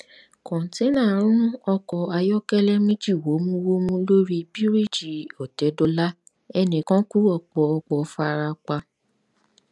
kòńténá rún ọkọ̀ ayọ́kẹ́lẹ́ méjì wómúwómú lórí bíríìjì òtẹ́dọlá ẹnì kan kú ọ̀pọ̀ ọ̀pọ̀ fara pa